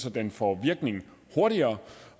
at den får virkning hurtigere